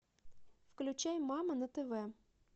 включай мама на тв